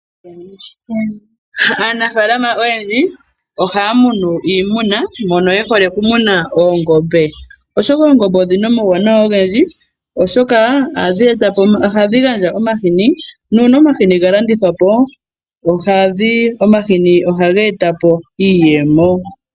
Aanafalama oyendji ohaa munu iimuna mono yehole okumuno oongombe. Oshoka oongombe odhina omauwanawa ogendji, oshoka ohadhi etapo, ohadhi gandja omahini nuuna omahini galandithwapo, omahini ohageetapo iiyemo.